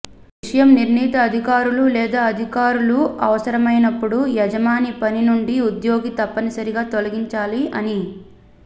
విషయం నిర్నీత అధికారులు లేదా అధికారులు అవసరమైనప్పుడు యజమాని పని నుండి ఉద్యోగి తప్పనిసరిగా తొలగించాలి అని